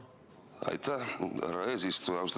Aitäh, härra eesistuja!